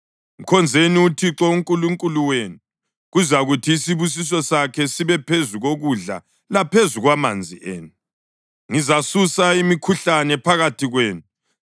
Mkhonzeni uThixo uNkulunkulu wenu, kuzakuthi isibusiso sakhe sibe phezu kokudla laphezu kwamanzi enu. Ngizasusa imikhuhlane phakathi kwenu,